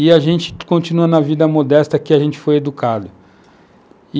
E a gente continua na vida modesta que a gente foi educado.